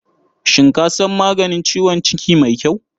Shin ka san maganin ciwon ciki mai kyau?